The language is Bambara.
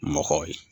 Mɔgɔw ye